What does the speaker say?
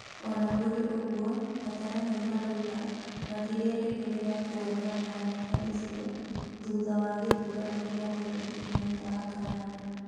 Ona kũrĩ ũguo, ataaramu maroiga matirerĩgĩrĩra kwona mbaara ta icio thutha wa gĩthurano kĩa mweri inyanya wa kanana.